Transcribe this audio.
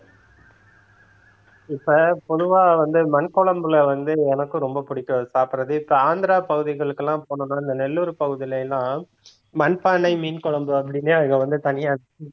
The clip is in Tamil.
இப்ப பொதுவா வந்து மண் குழம்புல வந்து எனக்கும் ரொம்ப பிடிக்கும் சாப்பிடுறது இப்ப ஆந்திர பகுதிகளுக்கெல்லாம் போனோம்னா இந்த நெல்லூர் பகுதியில எல்லாம் மண்பானை மீன் குழம்பு அப்படினே அங்க வந்து தனியா